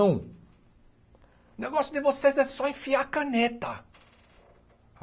O negócio de vocês é só enfiar a caneta.